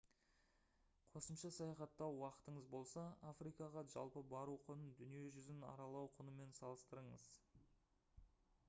қосымша саяхаттау уақытыңыз болса африкаға жалпы бару құнын дүние жүзін аралау құнымен салыстырыңыз